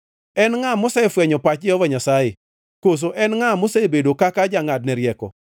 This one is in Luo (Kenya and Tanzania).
En ngʼa mosefwenyo pach Jehova Nyasaye, koso en ngʼa mosebedo kaka jangʼadne rieko?